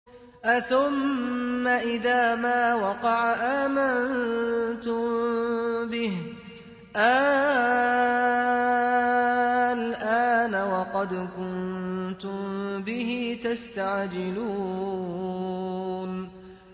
أَثُمَّ إِذَا مَا وَقَعَ آمَنتُم بِهِ ۚ آلْآنَ وَقَدْ كُنتُم بِهِ تَسْتَعْجِلُونَ